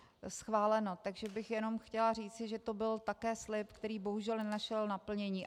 Takže bych jenom chtěla říci, že to byl také slib, který bohužel nenašel naplnění.